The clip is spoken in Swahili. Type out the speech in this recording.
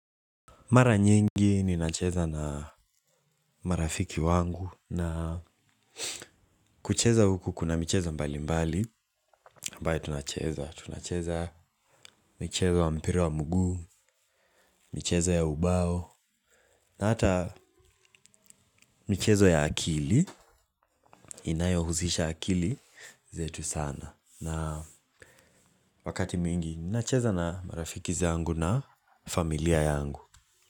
Mara nyingi ninacheza na marafiki wangu na kucheza huku kuna michezo mbali mbali ambaye tunacheza, tunacheza michezo wa mpira wa mguu, michezo ya ubao. Na hata michezo ya akili, inayo husisha akili zetu sana. Na wakati mwingi ninacheza na marafiki zangu na familia yangu.